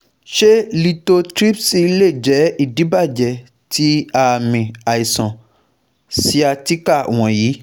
Ṣe lithotripsy lè jẹ́ idibàjẹ ti aami aiṣan sciatica wọnyi